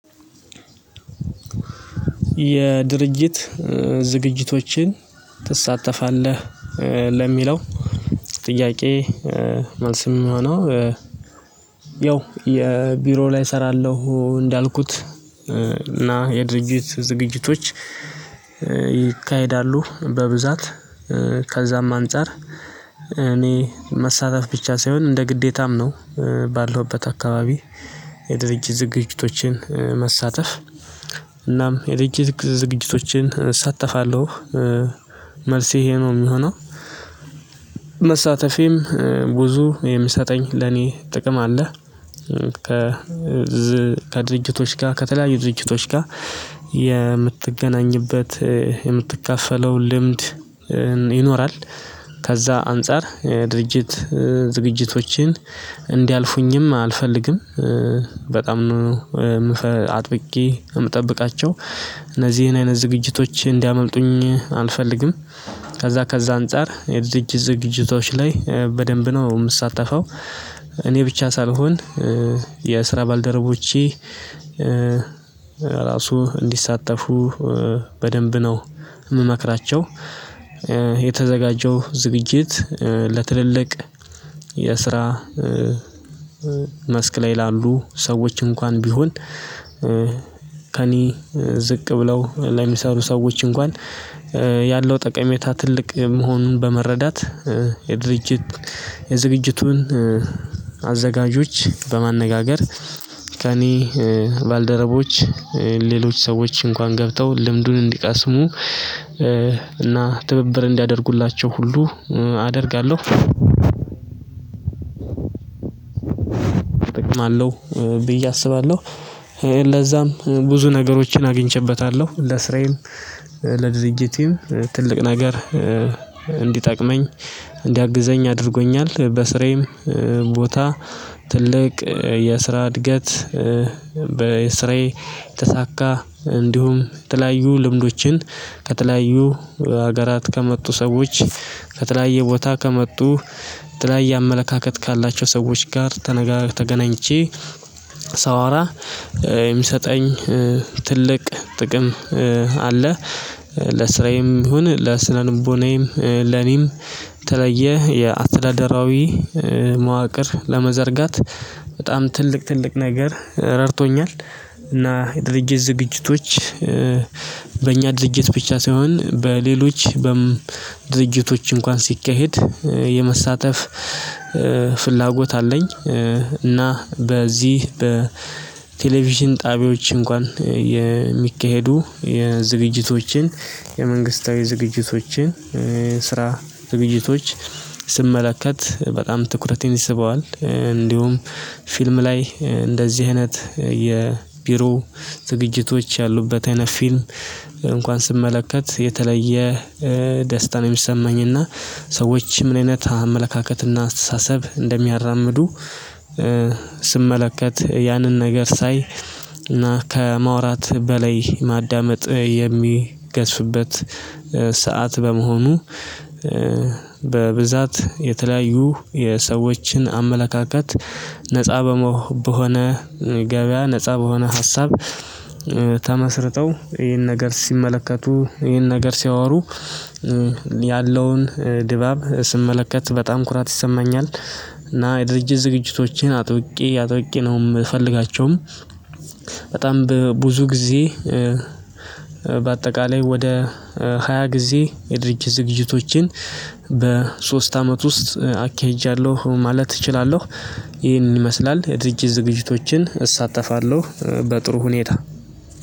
የድርጅት ዝግጅቶችን ትሳተፋለህ ለሚለው ጥያቄ? መልስ ሚሆነው ያው የቢሮ ላይ እሰራለሁ እንዳልኩት እና የድርጅት ዝግጅቶች ይካሄዳሉ በብዛት ከዛም አንፃር እኔ መሳተፍ ብቻ ሳይሆን እንደ ግዴታም ነው ባለሁበት አካባቢ የድርጅት ዝግጅቶችን መሳተፍ እናም የድርጅት ዝግጅቶችን እሳተፋለሁ መልሴ ይሄ ነው የሚሆነው። መሳተፌም ብዙ የሚሰጠኝ ለኔ ጥቅም አለ። ከ ከድርጅቶች ጋር ከተለያዩ ድርጅቶች ጋር የምትገናኝበት የምትካፈለው ልምድ ይኖራል። ከዛ አንፃር የድርጅት ዝግጅቶችን እንዲያልፉኝም አልፈልግም በጣም ነው አጥብቄ የምጠብቃቸው እነዚህን አይነት ዝግጅቶች እንዲያመልጡኝ አልፈልግም። ከዛ ከዛ አንፃር የዝግጅት ዝግጅቶች ላይ በደንብ ነው የምሳተፈው። እኔ ብቻ ሳልሆን የስራ ባልደረቦቼ ራሱ እንዲሳተፉ በደንብ ነው ምመክራቸው። የተዘጋጀው ዝግጅት ለትልልቅ የስራ መስክ ላይ ላሉ ሰዎች እንኳን ቢሆን ከእኔ ዝቅ ብለው ለሚሰሩ ሰዎች እንኳን ያለው ጠቀሜታ ትልቅ መሆኑን በመረዳት የድርጅት የዝግጅቱን አዘጋጆች በማነጋገር ከእኔ ባልደረቦች ሌሎች ሰዎች እንኳን ገብተው ልምዱን እንዲቀስሙ እና ትብብር እንዲያደርጉላቸው ሁሉ አደርጋለሁ። እጠቅማለሁ ብዬ አስባለሁ ለዛም ብዙ ነገሮችን አግኝቼበታለሁ ለስራዬም ለድርጅቴም ትልቅ ነገር እንዲጠቅመኝ እንዲያግዘኝ አድርጎኛል። በስራዬም ቦታ ትልቅ የስራ እድገት በስራዬ የተሳካ እንዲሁም የተለያዩ ልምዶችን ከተለያዩ ሀገራት ከመጡ ሰዎች ከተለያየ ቦታ ከመጡ ከተለያየ አመለካከት ካላቸው ሰዎች ጋር ተገናኝቼ ሳወራ የሚሰጠኝ ትልቅ ጥቅም አለ። ለስራዬም ይሁን ለስነልቦናዬም ለኔም የተለያየ የአስተዳደራዊ መዋቅር ለመዘርጋት በጣም ትልቅ ትልቅ ነገር ረድቶኛል። እና የድርጅት ዝግጅቶች በእኛ ድርጅት ብቻ ሳይሆን በሌሎች ድርጅቶች እንኳን ሲካሄድ የመሳተፍ ፍላጎት አለኝ። እና በዚህ በቴሌቪዥን ጣቢያዎች እንኳን የሚካሄዱ የዝግጅቶችን የመንግስታዊ ዝግጅቶችን የስራዝግጅቶች ስመለከት በጣም ትኩረቴን ይስበዋል። እንዲሁም ፊልም ላይ እንደዚህ አይነት የቢሮ ዝግጅቶች ያሉበት አይነት ፊልም እንኳን ስመለከት የተለየ ደስታ ነው ሚሰማኝና ሰዎች ምን አይነት አመለካከትና አስተሳሰብ እንደሚያራምዱ ስመለከት ያንን ነገር ሳይ እና ከመውራት በላይ ማዳመጥ የሚገዝፍበት ሰዓት በመሆኑ በብዛት የተለያዩ የሰዎችን አመለካከት ነፃ በመሆ በሆነ ገበያ ነፃ በሆነ ሀሳብ ተመስርተው ይሄን ነገር ሲመለከቱ ይሄን ነገር ሲያወሩ ያለውን ድባብ ስመለከት በጣም ኩራት ይሰማኛል። እና የድርጅት ዝግጅቶችን አጥብቄ አጥብቄ ነው የምፈልጋቸውም በጣም ብዙ ጊዜ በአጠቃላይ ወደ ሃያ ጊዜ የድርጅት ዝግጅቶችን በሶስት አመት ውስጥ አካሂጃለሁ ማለት እችላለሁ። ይህንን ይመስላል የድርጅት ዝግጅቶችን እሳተፋለሁ በጥሩ ሁኔታ